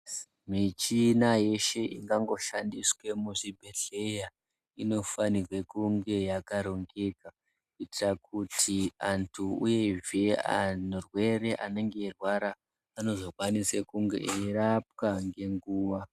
Michina yeshe ingangoshandiswa muzvibhehleya inofanirwe kunge yakarongeka kuitira kuti antu uyezve arwere anenge eirwara anozofanira kunge eirapwa ngenguwa.